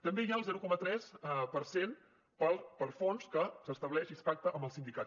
també hi ha el zero coma tres per cent per a fons que s’estableix i es pacta amb els sindicats